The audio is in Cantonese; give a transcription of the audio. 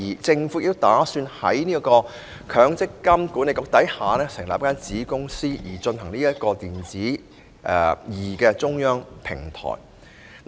政府亦計劃在積金局下成立子公司，負責"積金易"中央平台。